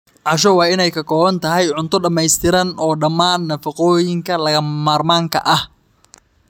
Casho waa in ay ka kooban tahay cunto dhamaystiran oo dhammaan nafaqooyinka lagama maarmaanka ah.